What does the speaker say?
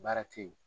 Baara te yen